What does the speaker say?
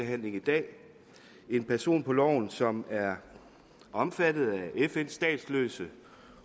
behandling i dag en person som er omfattet af fns statsløse